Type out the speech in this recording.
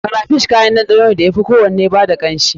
Crayfish kayan ɗanɗano ne da ya fi kowanne ba da kanshi.